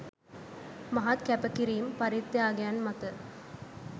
මහත් කැපකිරීම්, පරිත්‍යාගයන් මත